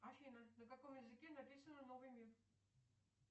афина на каком языке написано новый мир